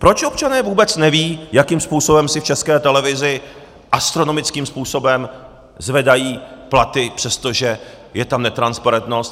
Proč občané vůbec nevědí, jakým způsobem si v České televizi astronomickým způsobem zvedají platy, přestože je tam netransparentnost.